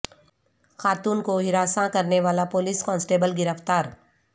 خاتون کو ہراساں کرنے والا پولیس کانسٹیبل گرفتار